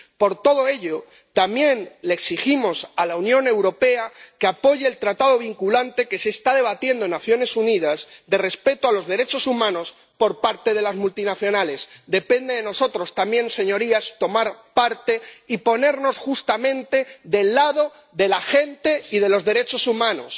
Por todo ello, también le exigimos a la Unión Europea que apoye el tratado vinculante que se está debatiendo en las Naciones Unidas, de respeto a los derechos humanos por parte de las multinacionales. Depende de nosotros también, señorías, tomar parte y ponernos justamente del lado de la gente y de los derechos humanos,